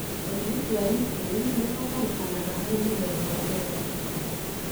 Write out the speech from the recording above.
ũrigiti wa insulin nĩũbatarĩkanaga harĩ mũthemba wa mbere wa cukari.